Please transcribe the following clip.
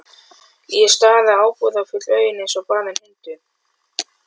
Ég stari í ábúðarfull augun eins og barinn hundur.